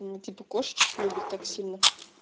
мм типа кошечек любит так сильно